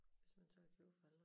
Hvis man tør at købe for alle